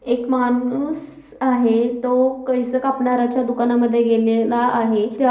एक माणूस आहे तो केस कापणाऱ्याच्या दुकानामध्ये गेलेला आहे. त्या--